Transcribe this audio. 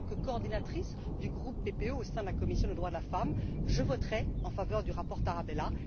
En tant que coordinatrice du groupe PPE au sein de la commission des droits de la femme, je voterai en faveur du rapport Tarabella.